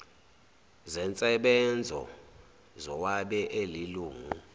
zensebenzo zowabe elilungu